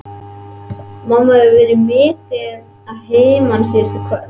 Mamma hefur verið mikið að heiman síðustu kvöld.